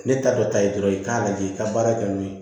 Ne ta dɔ ta ye dɔrɔn i k'a lajɛ i ka baara kɛ n'o ye